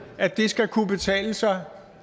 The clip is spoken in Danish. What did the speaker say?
at det skal kunne betale sig